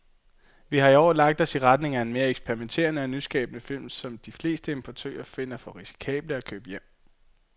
Vi har i år lagt os i retning af mere eksperimenterede og nyskabende film, som de fleste importører finder for risikable at købe hjem.